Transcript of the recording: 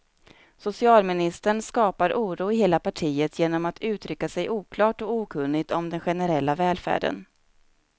Socialministern skapar oro i hela partiet genom att uttrycka sig oklart och okunnigt om den generella välfärden.